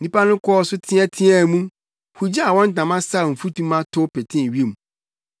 Nnipa no kɔɔ so teɛteɛɛ mu, hugyaa wɔn ntama saw mfutuma tow petee wim.